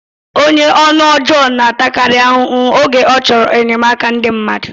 Onye ọnụ ọjọọ na-atakarị ahụhụ oge ọ chọrọ enyemaka ndị mmadụ